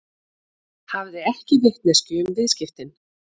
Hafði ekki vitneskju um viðskiptin